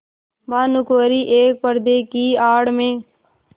भानुकुँवरि एक पर्दे की आड़ में